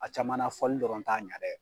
A caman na fɔli dɔrɔn t'a ɲa dɛ.